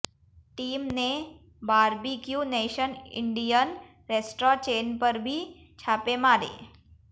team ने Barbeque Nation Indian restaurant chain पर भी छापे मारे